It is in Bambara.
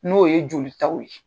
N'o ye jolitaw ye.